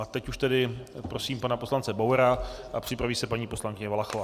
A teď už tedy prosím pana poslance Bauera a připraví se paní poslankyně Valachová.